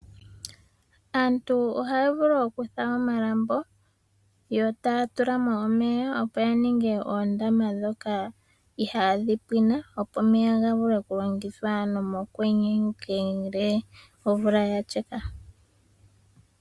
Aantu ohaya vulu okufula omalambo yo taya tula mo omeya opo ya ninge oondama ndhoka ihaa dhi pwine, opo omeya ga vule oku longithwa mokwenye ngele omvula ya sheka.